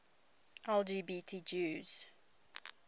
lgbt jews